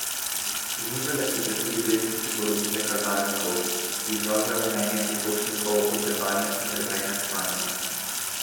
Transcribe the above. Znižale so se tudi vrednosti polovice kazalnikov, ki izražajo mnenje potrošnikov o sedanjem in preteklem stanju.